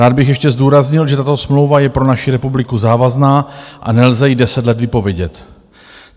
Rád bych ještě zdůraznil, že tato smlouva je pro naši republiku závazná a nelze ji deset let vypovědět.